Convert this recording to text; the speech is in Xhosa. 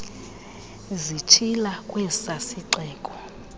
zitshila kwesa sixeko